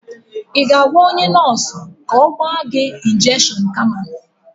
Ị ga-agwa onye nọọsụ ka ọ gba gị injekshons kama?